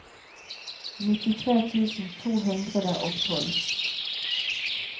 nittitre tusen to hundre og tolv